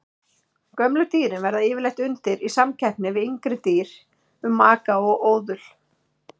Gömlu dýrin verða yfirleitt undir í samkeppni við yngri dýr um maka og óðul.